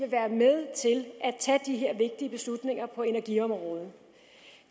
tage de her vigtige beslutninger på energiområdet